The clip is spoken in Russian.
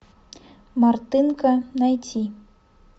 мартынко найти